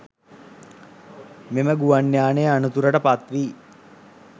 මෙම ගුවන් යානය අනතුරට පත් වී